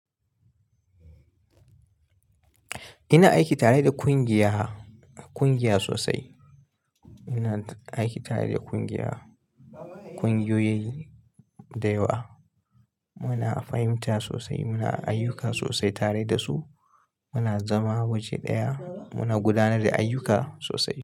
Ina aiki tare da kungiya, kungiya sosai. Ina aiki tare da kungiya, kungiyoyi da yawa. Muna fahimta sosai, muna ayyuka sosai tare da su. Muna zama waje ɗaya, muna gudanar da ayyuka sosai.